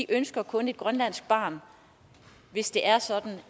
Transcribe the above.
ønsker kun et grønlandsk barn hvis det er sådan